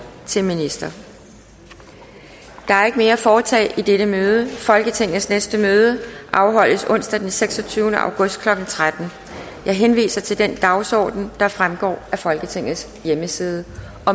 til minister der er ikke mere at foretage i dette møde folketingets næste møde afholdes onsdag den seksogtyvende august klokken tretten jeg henviser til den dagsorden der fremgår af folketingets hjemmeside